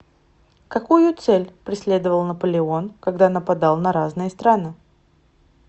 какую цель преследовал наполеон когда нападал на разные страны